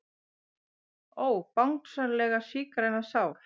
Ó Bangsalega sígræna sál.